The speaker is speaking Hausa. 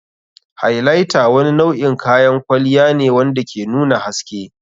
Highlighter wani nau'in kayan kwalliya ne wanda ke nuna haske.